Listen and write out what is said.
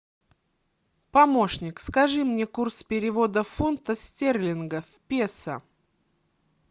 помощник скажи мне курс перевода фунта стерлинга в песо